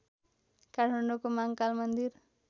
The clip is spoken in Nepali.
काठमाडौको महाँकाल मन्दिर